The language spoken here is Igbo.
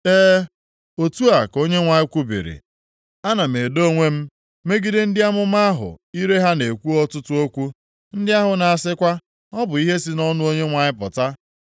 E, otu a ka Onyenwe anyị kwubiri, Ana m edo onwe m megide ndị amụma ahụ ire ha na-ekwu ọtụtụ okwu, ndị ahụ na-asịkwa, ‘Ọ bụ ihe si nʼọnụ Onyenwe anyị pụta.’